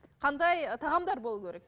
қандай тағамдар болуы керек